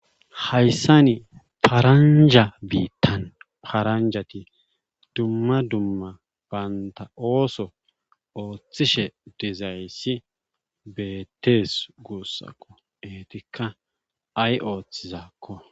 hayssani paramjja biittan paranjjati dumma dumma bantta ooso oothishe dizayssi beettees guussako eetikkaa ay oothizaakko.